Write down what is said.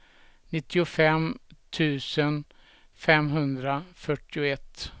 nittiofem tusen femhundrafyrtioett